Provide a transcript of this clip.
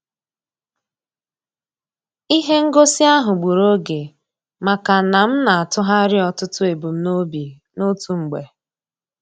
Ihe ngosi ahụ gburu oge maka na m na-atụgharị ọtụtụ ebumnobi n'otu mgbe.